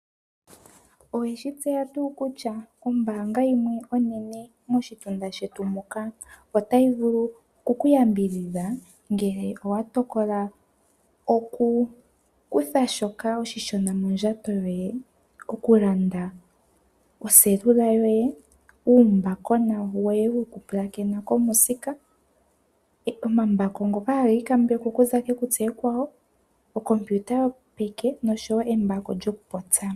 Oweshi tseya tuu kutya ombaanga yimwe onene moshitunda shetu muka otayi vulu oku kuyambidhidha ngele owa tokola oku kutha shoka oshishona mondjato yoye? Oku landa oseluka yoye, uumbakona woye woku pulakena komusika, omambako ngoka haga ikambekwa okuza kekutsi ekwawo, ookompiuta yopeke noshowo embako lyoku popya.